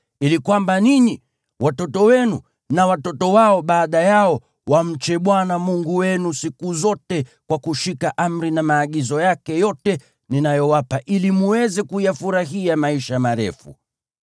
ili kwamba ninyi, watoto wenu na watoto wao baada yao wamche Bwana Mungu wenu siku zote kwa kushika amri na maagizo yake yote ninayowapa, ili mweze kuyafurahia maisha marefu.